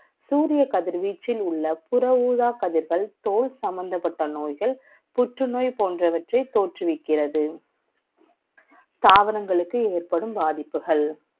சூரிய கதிர்வீச்சில் உள்ள புற ஊதா கதிர்கள் தோல் சம்பந்தப்பட்ட நோய்கள் புற்று நோய்கள் தோற்றுவிக்கிறது தாவரங்களுக்கு ஏற்படும் பாதிப்புகள்